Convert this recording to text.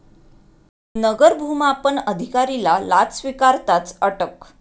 नगर भुमापन अधिकारीला लाच स्वीकारताच अटक